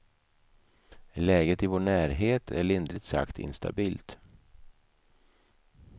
Läget i vår närhet är lindrigt sagt instabilt.